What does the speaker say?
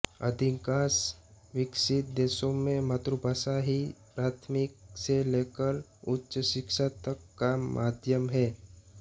अधिकांश विकसित देशों में मातृभाषा ही प्राथमिक से लेकर उच्च शिक्षा तक का माध्यम है